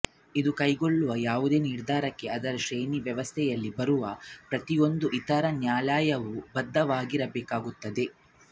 ಇದು ಕೈಗೊಳ್ಳುವ ಯಾವುದೇ ನಿರ್ಧಾರಕ್ಕೆ ಅದರ ಶ್ರೇಣಿ ವ್ಯವಸ್ಥೆಯಲ್ಲಿ ಬರುವ ಪ್ರತಿಯೊಂದು ಇತರ ನ್ಯಾಯಾಲಯವೂ ಬದ್ಧವಾಗಿರಬೇಕಾಗುತ್ತದೆ